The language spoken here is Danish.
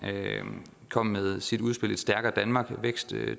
kom med sit udspil et stærkere danmark vækst